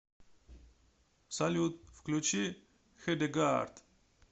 салют включи хедегаард